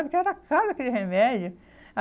Porque era caro aquele remédio.